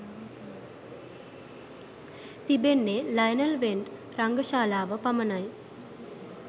තිබෙන්නේ Lionel Wendt රංගශාලාව පමණයි.